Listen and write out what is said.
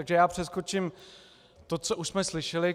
Takže já přeskočím to, co už jsme slyšeli.